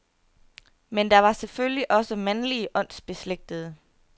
Men der var selvfølgelig også mandlige åndsbeslægtede.